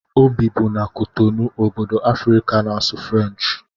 O bibu na Kotonou, obodo Afrịka na-asụ Frenchi